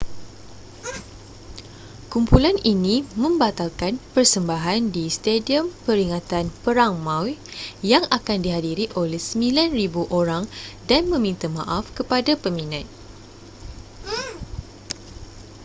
kumpulan ini membatalkan persembahan di stadium peringatan perang maui yang akan dihadiri oleh 9.000 orang dan meminta maaf kepada peminat